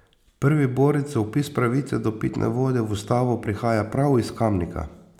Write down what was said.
Prvi borec za vpis pravice do pitne vode v ustavo prihaja prav iz Kamnika.